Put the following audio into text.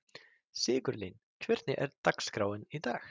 Sigurlín, hvernig er dagskráin í dag?